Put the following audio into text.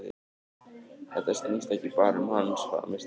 Þetta snýst ekki bara um hans frammistöðu.